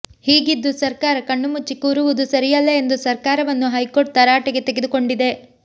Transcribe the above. ಹೀಗಿದ್ದು ಸರ್ಕಾರ ಕಣ್ಣುಮುಚ್ಚಿ ಕೂರುವುದು ಸರಿಯಲ್ಲ ಎಂದು ಸರ್ಕಾರವನ್ನು ಹೈಕೋರ್ಟ್ ತರಾಟೆಗೆ ತೆಗೆದುಕೊಂಡಿದೆ